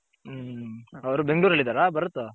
ಹು ಅವರು ಬೆಂಗಲೋರಲ್ಲಿ ಇದರ ಭರತ್.